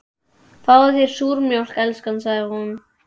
Fáðu þér súrmjólk, elskan, sagði hún.